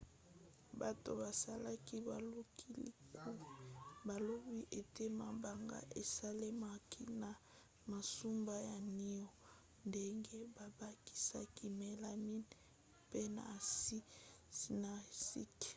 bato basalaki bolukiluki balobi ete mabanga esalemaki na masuba ya niau ndenge babakisaki melamine mpe na aside cyanuricque